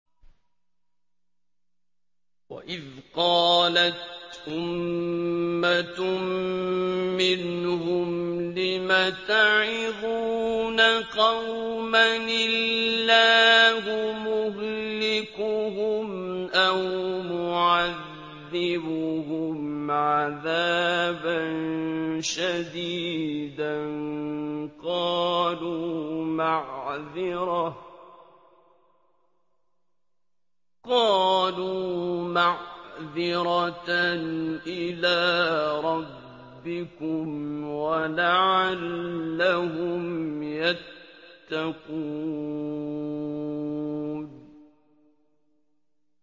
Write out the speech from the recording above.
وَإِذْ قَالَتْ أُمَّةٌ مِّنْهُمْ لِمَ تَعِظُونَ قَوْمًا ۙ اللَّهُ مُهْلِكُهُمْ أَوْ مُعَذِّبُهُمْ عَذَابًا شَدِيدًا ۖ قَالُوا مَعْذِرَةً إِلَىٰ رَبِّكُمْ وَلَعَلَّهُمْ يَتَّقُونَ